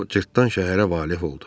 O cırtdan şəhərə valeh oldu.